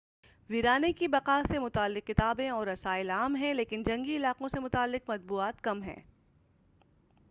ویرانے کی بقاء سے متعلق کتابیں اور رسائل عام ہیں لیکن جنگی علاقوں سے متعلق مطبوعات کم ہیں